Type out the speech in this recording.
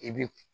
I bi